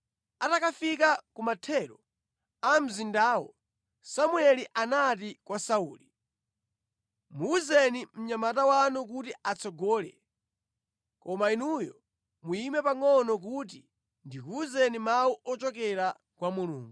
Atakafika ku mathero a mzindawo, Samueli anati kwa Sauli, “Muwuzeni mnyamata wanu kuti atsogole, koma inuyo muyime pangʼono kuti ndikuwuzeni mawu ochokera kwa Mulungu.”